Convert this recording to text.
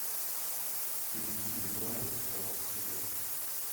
перейди в навык спорт супер